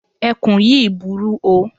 Ẹkùn yíì burú o.